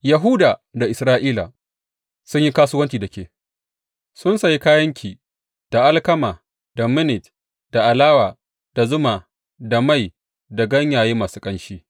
Yahuda da Isra’ila sun yi kasuwanci da ke; sun sayi kayanki da alkama da Minnit da alawa, da zuma, da mai, da ganyaye masu ƙanshi.